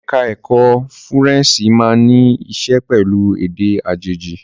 Ẹ̀ka ẹ̀kó Fúrẹ́ǹṣì máa ní í ṣe pẹ̀lú èdè àjèjì.